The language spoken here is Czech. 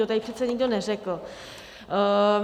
To tady přece nikdo neřekl.